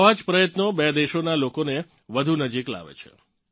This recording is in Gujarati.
આવાં જ પ્રયત્નો બે દેશોનાં લોકોને વધુ નજીક લાવે છે